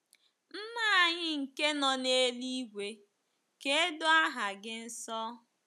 Nna anyị nke nọ n’eluigwe, ka e doo aha gị nsọ